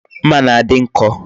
Mma na-adi nko